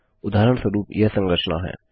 उदाहरणस्वरूप यह संरचना है